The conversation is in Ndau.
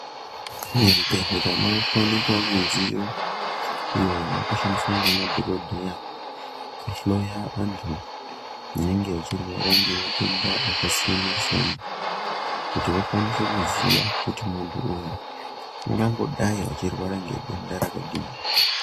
Mizvibhedhlera makuwanikwa midziyo iyo yakushandiswa ngemadhokodheya kuhloya antu anenge achirwara ngematenda akasiyana siyana, kuti vakwanise kuziya kuti muntu uyu ungangodayi achirwara ngedenda rakadini.